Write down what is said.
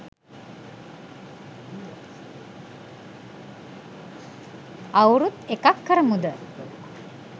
අවුරුද් එකක් කරමුද